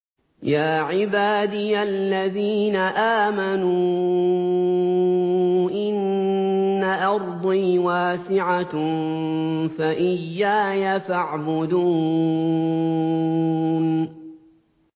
يَا عِبَادِيَ الَّذِينَ آمَنُوا إِنَّ أَرْضِي وَاسِعَةٌ فَإِيَّايَ فَاعْبُدُونِ